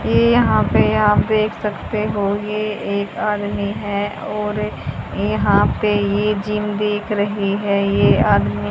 ये यहां पे आप देख सकते हो ये एक आदमी है और यहां पे ये जिम दिख रहे है ये आदमी --